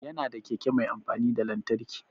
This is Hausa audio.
Ya na da keke mai amfani da lantarki